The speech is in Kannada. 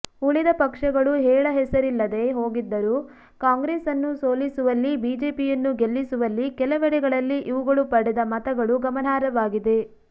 ಉಳಿದ ಪಕ್ಷಗಳು ಹೇಳ ಹೆಸರಿಲ್ಲದೇ ಹೋಗಿದ್ದರೂ ಕಾಂಗ್ರೆಸ್ ಅನ್ನು ಸೋಲಿಸುವಲ್ಲಿ ಬಿಜೆಪಿಯನ್ನು ಗೆಲ್ಲಿಸುವಲ್ಲಿ ಕೆಲವೆಡೆಗಳಲ್ಲಿ ಇವುಗಳು ಪಡೆದ ಮತಗಳು ಗಮನಾರ್ಹವಾಗಿದೆ